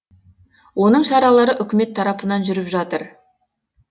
оның шаралары үкімет тарапынан жүріп жатыр